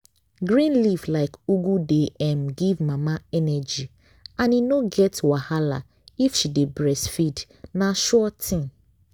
green leaf like ugu dey um give mama energy and e no get wahala if she dey breastfeed na sure thing.